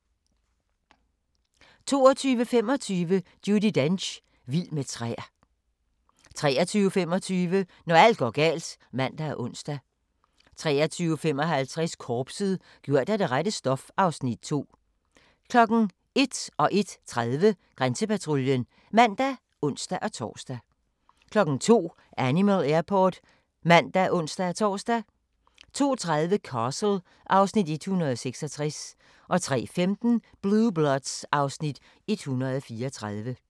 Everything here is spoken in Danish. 22:25: Judi Dench - vild med træer 23:25: Når alt går galt (man og ons) 23:55: Korpset - gjort af det rette stof (Afs. 2) 01:00: Grænsepatruljen (man og ons-tor) 01:30: Grænsepatruljen (man og ons-tor) 02:00: Animal Airport (man og ons-tor) 02:30: Castle (Afs. 166) 03:15: Blue Bloods (Afs. 134)